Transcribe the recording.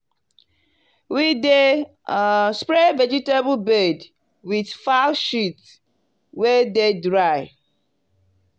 we dey um spray vegetable bed with fowl shit wey dey dry.